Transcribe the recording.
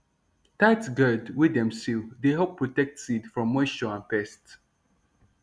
tight gourd wey dem seal dey help protect seed from moisture and pest